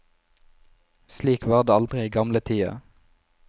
Slik var det aldri i gamletida.